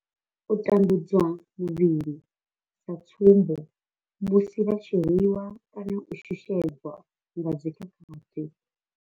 U tambudzwa muvhili sa tsumbo, musi vha tshi rwi wa kana u shushedzwa nga dzi khakhathi.